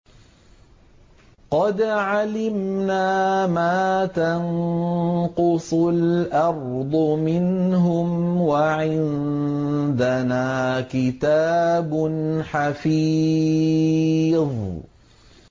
قَدْ عَلِمْنَا مَا تَنقُصُ الْأَرْضُ مِنْهُمْ ۖ وَعِندَنَا كِتَابٌ حَفِيظٌ